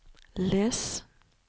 les